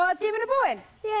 tíminn er búinn